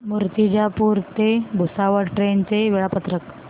मूर्तिजापूर ते भुसावळ ट्रेन चे वेळापत्रक